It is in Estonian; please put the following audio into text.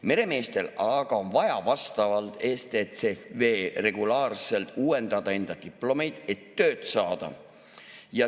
Meremeestel aga on vaja vastavalt STCW‑le regulaarselt uuendada enda diplomeid, et tööd saada.